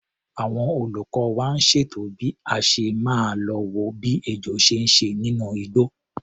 Àwọn olùkọ́ wa ń ṣètò bí a ṣe máa lo wo bí ejò ṣe ń ṣe nínú igbó.